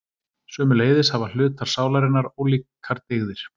Sömuleiðis hafa hlutar sálarinnar ólíkar dygðir.